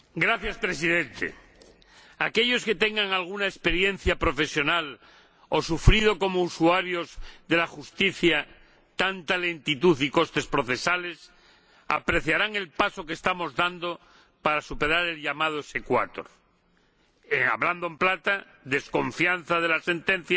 Señor Presidente, aquellos que tengan alguna experiencia profesional o hayan sufrido como usuarios de la Justicia lentitud y costes procesales apreciarán el paso que estamos dando para superar el llamado exequátur, hablando en plata, la desconfianza de